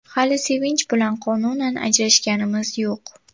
Hali Sevinch bilan qonunan ajrashganimiz yo‘q.